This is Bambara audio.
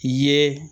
I ye